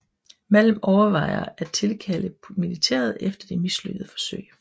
Malm overvejer at tilkalde militæret efter de mislykkede forsøg